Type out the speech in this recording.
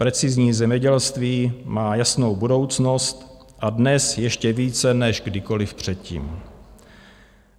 Precizní zemědělství má jasnou budoucnost a dnes ještě více než kdykoliv předtím.